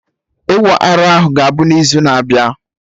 Ịwa arụ ahụ ga-abụ n'izu na-abịa